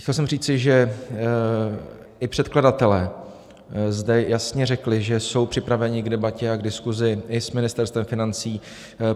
Chtěl jsem říci, že i předkladatelé zde jasně řekli, že jsou připraveni k debatě a k diskuzi i s Ministerstvem financí.